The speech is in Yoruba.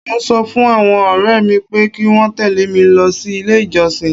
Mọ ń sọ fún àwọn ọ̀rẹ́ mi pé kí wọ́n tẹ̀lé mi lọ sí ilé ìjọsìn.